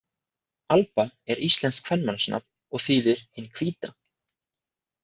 Alba er íslenskt kvenmannsnafn og þýðir hin hvíta.